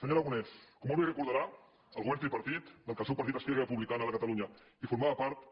senyor aragonès com molt bé recordarà el govern tripartit del qual el seu partit esquerra republicana de catalunya en formava part